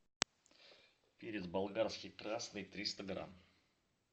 перец болгарский красный триста грамм